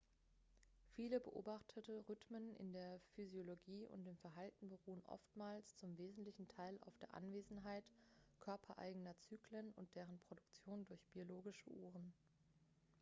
viele beobachtete rhythmen in der physiologie und dem verhalten beruhen oftmals zum wesentlichen teil auf der anwesenheit körpereigener zyklen und deren produktion durch biologische uhren.x